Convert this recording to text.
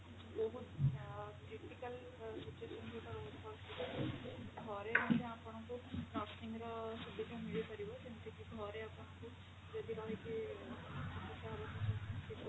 ବହୁତ ଅ critical situation ଯୋଉଟା ରହୁଛି ଘରେ ମଧ୍ୟ ଆପଣଙ୍କୁ nursing ର ସୁବିଧା ମିଳିପାରିବ ଯେମିତି କି ଘରେ ଆପଣଙ୍କୁ ଯଦି ରହିକି